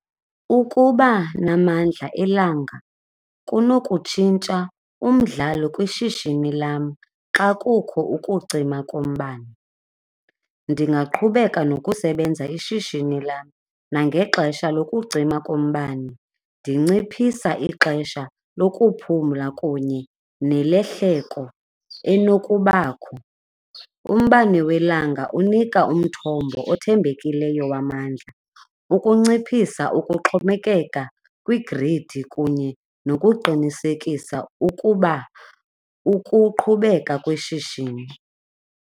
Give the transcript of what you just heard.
Ukuba namandla elanga kunokutshintsha umdlalo kwishishini lam xa kukho ukucima kombani. Ndingaqhubeka nokusebenza ishishini lam nangexesha lokucima kombani ndinciphisa ixesha lokuphumla kunye nelehleko enokubakho. Umbane welanga unika umthombo othembekileyo wamandla, ukunciphisa ukuxhomekeka kwigridi kunye nokuqinisekisa ukuba ukuqhubeka kweshishini.